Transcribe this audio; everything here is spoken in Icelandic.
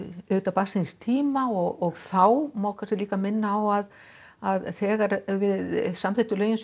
barn síns tíma og þá má líka minna á að að þegar við samþykktum lögin